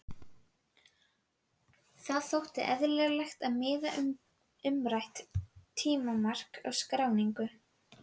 Það þótti eðlilegt að miða umrætt tímamark við skráningu.